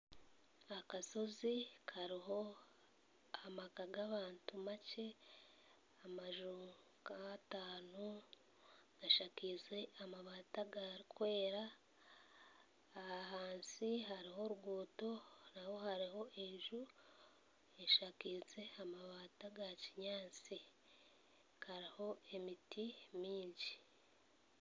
Akashozi kariho amaka g'abantu makye, amaju nk'ataano. Gashakaize amabaati agarikwera. Ahansi hariho oruguuto naho hariho enju eshakaize amabaati aga kinyaasi. Kariho emiti mingi.